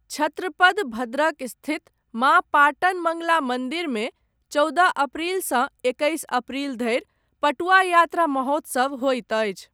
छत्रपद भद्रक स्थित, माँ पाटन मङ्गला मन्दिरमे, चौदह अप्रैलसँ एकैस अप्रैल धरि, पटुआ यात्रा महोत्सव होइत अछि।